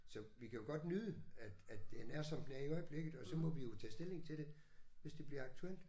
Så vi kan jo godt nyde at at den er som den er i øjeblikket og så må vi jo tage stilling til det hvis det bliver aktuelt